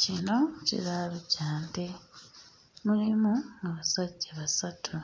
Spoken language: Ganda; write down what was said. Kino kiraalo kya nte, mulimu abasajja basatu,